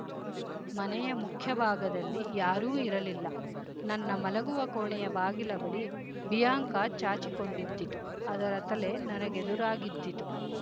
ಮನೆಯ ಮುಖ್ಯ ಭಾಗದಲ್ಲಿ ಯಾರೂ ಇರಲಿಲ್ಲ ನನ್ನ ಮಲಗುವ ಕೋಣೆಯ ಬಾಗಿಲ ಬಳಿ ಬಿಯಾಂಕ ಚಾಚಿಕೊಂಡಿದ್ದಿತು ಅದರ ತಲೆ ನನಗೆದುರಾಗಿದ್ದಿತು